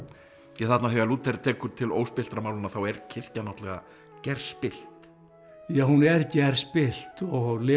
þarna þegar Lúther tekur til óspilltra málanna þá er kirkjan náttúrulega gerspillt já hún er gerspillt og Leo